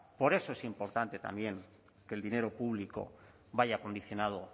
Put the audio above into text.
por eso es importante también que el dinero público vaya condicionado